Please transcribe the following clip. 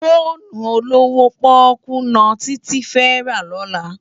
Fónú ólówó pòkú no Titi fè rá lòlá